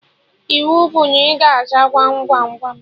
Iwu bụ na ị ga-aza Gwam Gwam Gwam